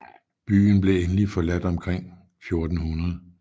Byen blev endeligt forladt omkring 1400